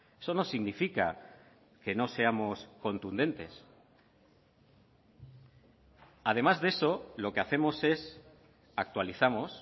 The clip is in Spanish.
eso no significa que no seamos contundentes además de eso lo que hacemos es actualizamos